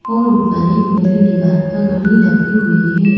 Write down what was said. और ऊपर एक नीली दीवार पर घड़ी लगी हुई है।